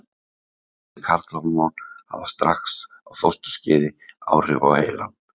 Þessi karlhormón hafa strax á fósturskeiði áhrif á heilann.